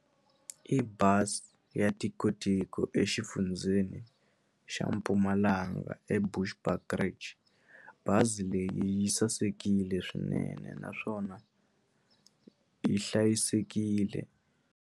I bazi ya tikotiko exifundzeni xa Mpumalanga eVushbuckridge bazi leyi yi sasekile swinene naswona yi hlayisekile.